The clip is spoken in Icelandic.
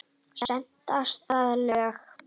Stenst það lög?